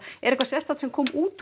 er eitthvað serstaket sem kom út úr